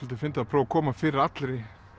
fyndið að prófa að koma fyrir allri